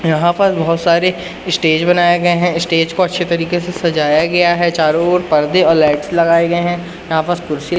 यहां पर बहोत सारे स्टेज बनाए गए हैं स्टेज को अच्छे तरीके से सजाया गया है चारों ओर पर्दे और लाइट्स लगाए गए हैं यहां पास कुर्सी--